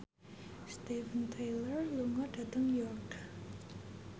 Steven Tyler lunga dhateng York